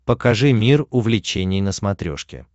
покажи мир увлечений на смотрешке